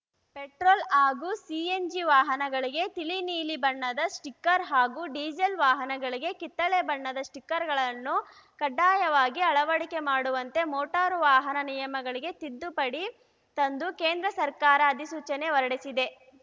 petrol ಹಾಗೂ CNG ವಾಹನಗಳಿಗೆ ತಿಳಿ ನೀಲಿ ಬಣ್ಣದ ಸ್ಟಿಕ್ಕರ್‌ ಹಾಗೂ ಡೀಸೆಲ್‌ ವಾಹನಗಳಿಗೆ ಕಿತ್ತಳೆ ಬಣ್ಣದ ಸ್ಟಿಕ್ಕರ್‌ಗಳನ್ನು ಕಡ್ಡಾಯವಾಗಿ ಅಳವಡಿಕೆ ಮಾಡುವಂತೆ ಮೋಟಾರು ವಾಹನ ನಿಯಮಗಳಿಗೆ ತಿದ್ದುಪಡಿ ತಂದು ಕೇಂದ್ರ ಸರ್ಕಾರ ಅಧಿಸೂಚನೆ ಹೊರಡಿಸಿದೆ